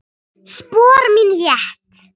Spor mín létt.